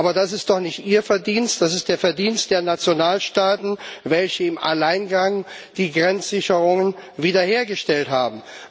Aber das ist doch nicht Ihr Verdienst, das ist das Verdienst der Nationalstaaten, welche im Alleingang die Grenzsicherungen wiederhergestellt haben.